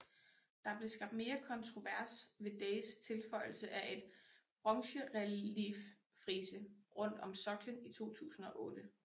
Der blev skabt mere kontrovers ved Days tilføjelse af et bronzerelieffrise rundt om soklen i 2008